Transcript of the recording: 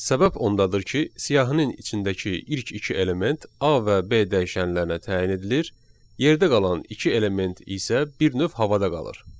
Səbəb ondadır ki, siyahının içindəki ilk iki element A və B dəyişənlərinə təyin edilir, yerdə qalan iki element isə bir növ havada qalır.